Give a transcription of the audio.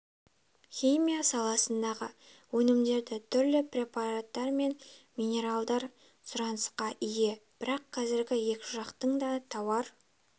химия саласындағы өнімдері түрлі препараттар мен минералдар сұранысқа ие бірақ қазір екі жақтың да тауар